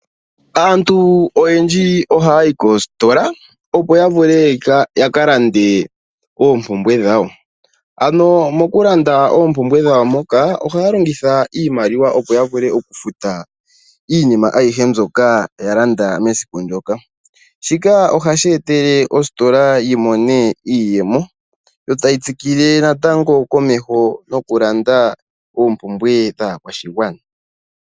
Aantu oyedji ohaya yi koostola opo ya vule yaka lande oompumbwe dhawo. Ano mokulanda ohaya longitha iimaliwa mbyoka opo ya vule okufuta iinima ayihe mbyoka ya landwa mesiku ndyoka. Shika ohashi etele ostola yi mone iiyemo yo tayi tsikile natango komeho nokulanda oompumbwe dhaakwashigwana.